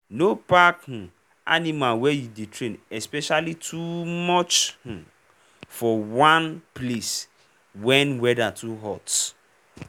no pack um animal wey you dey train especially fowl too um much for one um place wen weather too hot.